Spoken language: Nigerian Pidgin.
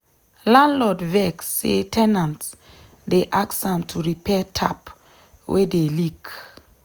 landlord vex say ten ant dey ask am to repair tap wey dey leak.